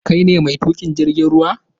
Kai ne mai tuƙin jirgin ruwa?